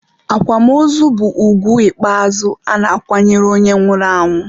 akwamozu bụ ugwu ikpeazụ a na-akwanyere onye nwụrụ anwụ.